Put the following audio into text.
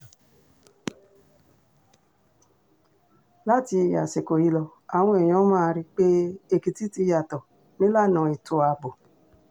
láti àsìkò yìí lọ àwọn èèyàn máa rí i pé èkìtì ti yàtọ̀ nílànà ètò ààbò